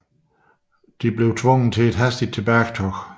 Det tvang dem til et hastigt tilbagetog